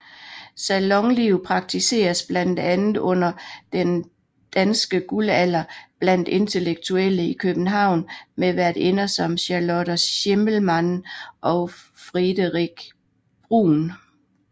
Salonliv praktiseres blandt andet under den danske guldalder blandt intellektuelle i København med værtinder som Charlotte Schimmelmann og Friederike Brun